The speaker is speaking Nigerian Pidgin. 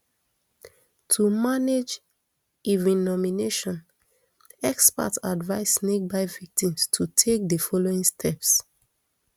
to manage envenomation experts advice snakebite victims to take di following steps